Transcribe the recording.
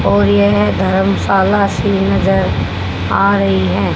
और यह धर्मशाला सी नजर आ रही है।